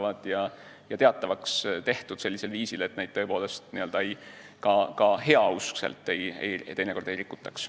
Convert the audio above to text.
Need peavad olema teatavaks tehtud sellisel viisil, et neid teinekord ka heauskselt ei rikutaks.